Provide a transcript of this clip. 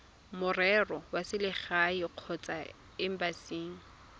merero ya selegae kgotsa embasing